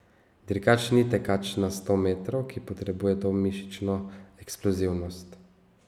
Dirkač ni tekač na sto metrov, ki potrebuje to mišično eksplozivnost.